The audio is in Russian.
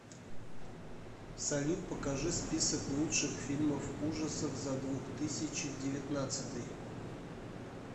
салют покажи список лучших фильмов ужасов за двух тысячи девятнадцатый